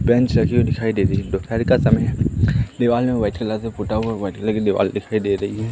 Bench रखी हुई दिखाई दे रही है दोपहर का समय है दीवाल में वाइट कलर का पोता हुआ है व्हाइट कलर की दीवाल दिखाई दे रही है।